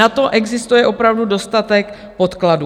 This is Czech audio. Na to existuje opravdu dostatek podkladů.